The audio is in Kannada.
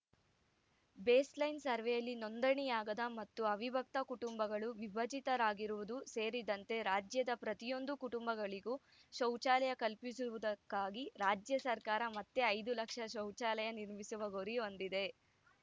ಬೇಸ್‌ಲೈನ್‌ ಸರ್ವೆಯಲ್ಲಿ ನೋಂದಣಿಯಾಗದ ಮತ್ತು ಅವಿಭಕ್ತ ಕುಟುಂಬಗಳು ವಿಭಜಿತರಾಗಿರುವುದು ಸೇರಿದಂತೆ ರಾಜ್ಯದ ಪ್ರತಿಯೊಂದು ಕುಟುಂಬಗಳಿಗೂ ಶೌಚಾಲಯ ಕಲ್ಪಿಸುವುದಕ್ಕಾಗಿ ರಾಜ್ಯ ಸರ್ಕಾರ ಮತ್ತೆ ಐದು ಲಕ್ಷ ಶೌಚಾಲಯ ನಿರ್ಮಿಸುವ ಗುರಿ ಹೊಂದಿದೆ